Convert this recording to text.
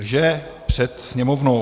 Lže před Sněmovnou.